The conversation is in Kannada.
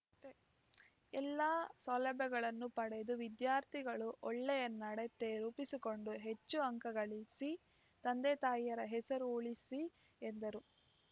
ಎಲ್ಲ ಸೌಲಭ್ಯಗಳನ್ನು ಪಡೆದು ವಿದ್ಯಾರ್ಥಿಗಳು ಒಳ್ಳೆಯ ನಡತೆ ರೂಪಿಸಿಕೊಂಡು ಹೆಚ್ಚು ಅಂಕಗಳಿಸಿ ತಂದೆತಾಯಿಯರ ಹೆಸರು ಉಳಿಸಲಿ ಎಂದರು